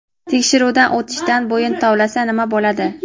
Tekshiruvdan o‘tishdan bo‘yin tovlasa nima bo‘ladi?.